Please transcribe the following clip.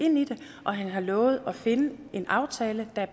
og han har lovet at finde en aftale der